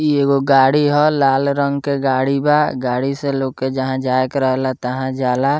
इ एगो गाड़ी हो लाल रंग के गाड़ी बा गाड़ी से लोके जहाँ जाएकर रहला तहाँ जाला।